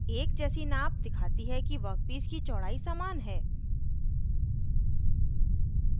एक जैसी नाप दिखाती है कि वर्कपीस की चौड़ाई समान है